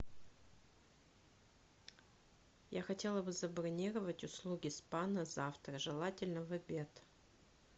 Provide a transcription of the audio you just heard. я хотела бы забронировать услуги спа на завтра желательно в обед